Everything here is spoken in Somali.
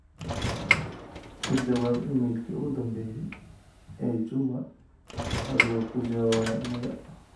ka jawaab iimaylkii ugu dambeeyay ee juma adigoo ku jawaabaya maya